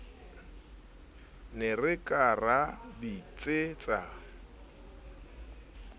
ne re ka ra bitsetsa